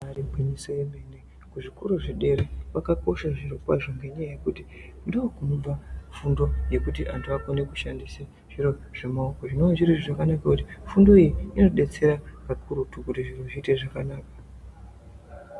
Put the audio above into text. Ibari gwinyiso yemene kuzvikora zvedera kwakakosha zviro kwazvo ngenyaya yekuti ndokunobva fundo ye kuti antu akone kushandisa zviro zvemaoko zvinova zviri zviro zvakanaka kuti fundo iyi inodetsera kakurutu kuti zviro zviite zvakanaka.